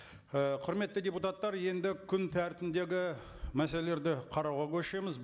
ы құрметті депутаттар енді күн тәртібіндегі мәселелерді қарауға көшеміз